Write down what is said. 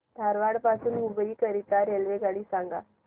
धारवाड पासून हुबळी करीता रेल्वेगाडी सांगा